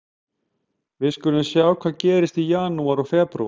Við skulum sjá hvað gerist í janúar og febrúar.